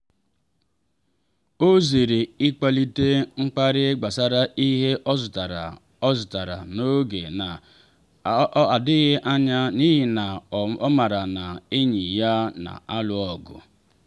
ọ zere ịkpalite mkparị gbasara ihe ọ zụtara ọ zụtara n’oge na adịbeghị anya n’ihi na ọ maara na enyi ya na alụ ọgụ.